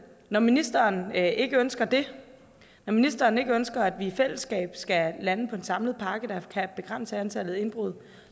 når ministeren ikke ønsker det når ministeren ikke ønsker at vi i fællesskab skal lande på en samlet pakke der kan begrænse antallet af indbrud